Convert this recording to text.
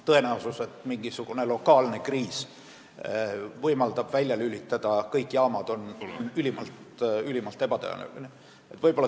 Tõenäosus, et mingisuguse lokaalse kriisi ajal saab välja lülitada kõik jaamad, on ülimalt väike.